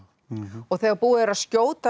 og þegar búið er að skjóta